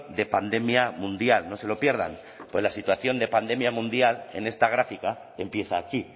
de pandemia mundial no se lo pierdan fue la situación de pandemia mundial en esta gráfica empieza aquí